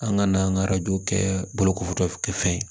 An ka n'an ka arajo kɛ bolokofo kɛ fɛn ye